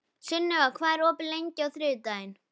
Sunniva, hvað er opið lengi á þriðjudaginn?